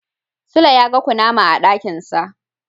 Sule yaga kunama a dakinsa.